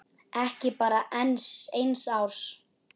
Ekki bara enn eins árs?